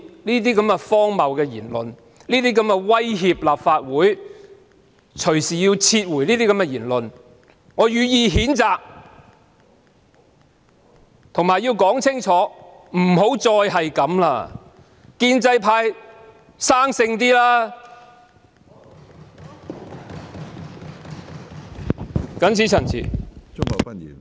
對於那些荒謬、威脅立法會要隨意撤回《條例草案》的言論，我予以譴責，我亦要清楚奉勸一句，請建制派不要再這樣做，請他們"生性"些。